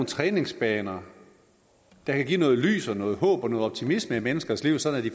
træningsbaner der kan give noget lys og noget håb og noget optimisme i menneskers liv sådan at de